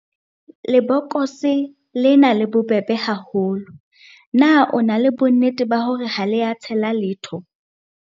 Lebokose lena le bobebe haholo, na o na le bonnete ba hore ha le a tshela letho.